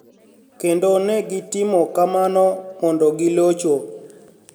Kenido ni e gitimo kamano monidogilocho.